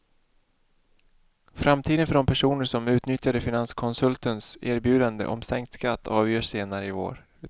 Framtiden för de personer som utnyttjade finanskonsultens erbjudande om sänkt skatt avgörs senare i vår.